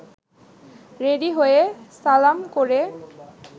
ready হয়ে সালাম করে